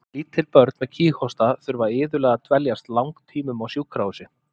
Lítil börn með kíghósta þurfa iðulega að dveljast langtímum á sjúkrahúsi.